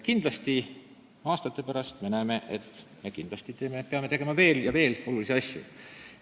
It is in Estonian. Ja aastate pärast me näeme, et me peame tegema veel ja veel olulisi asju.